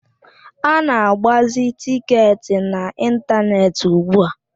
A na-agbazi tịketị n'ịntaneetị ugbua.